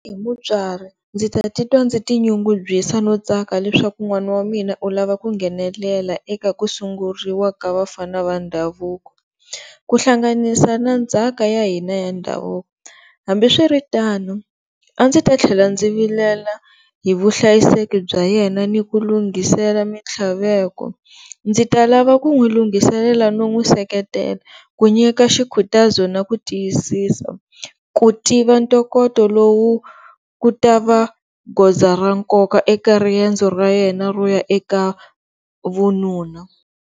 Tanihi mutswari ndzi ta titwa ndzi ti nyungubyisa no tsaka leswaku n'wana wa mina u lava ku nghenelela eka ku sunguriwa ka vafana va ndhavuko, ku hlanganisa na ndzhaka ya hina ya ndhavuko, hambiswiritano a ndzi ta tlhela ndzi vilela hi vuhlayiseki bya yena ni ku lunghisela mintlhaveko ndzi ta lava ku n'wi lunghiselela no n'wi seketela ku nyika xikhutazo na ku tiyisisa ku tiva ntokoto lowu ku ta va goza ra nkoka eka riendzo ra yena ro ya eka vununa.